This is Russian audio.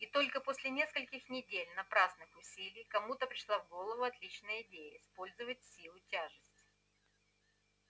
и только после нескольких недель напрасных усилий кому-то пришла в голову отличная идея использовать силу тяжести